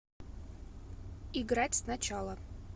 играть сначала